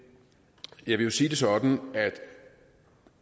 jeg vil sige det sådan at